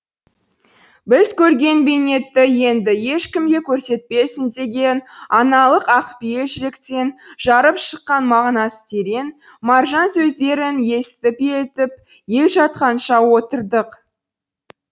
біз көрген бейнетті енді ешкімге көрсетпесін деген аналық ақпейіл жүректен жарып шыққан мағынасы терең маржан сөздерін есітіп елітіп ел жатқанша отырдық